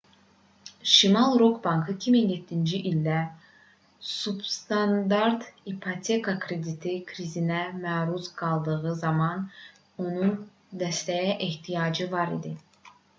şimali rock bankı 2007-ci ildə substandart ipoteka krediti krizinə məruz qaldığı zaman onun dəstəyə ehtiyacı var idi